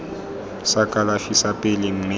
sa kalafi sa pele mme